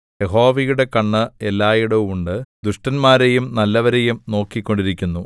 യഹോവയുടെ കണ്ണ് എല്ലായിടവും ഉണ്ട് ദുഷ്ടന്മാരെയും നല്ലവരെയും നോക്കിക്കൊണ്ടിരിക്കുന്നു